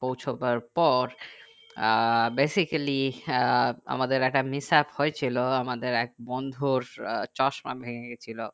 পোঁছাবার পর আহ basically আহ আমাদের একটা mishap হয়েছিল আমাদের এক বন্ধুর চশমা ভেঙে গেছিলো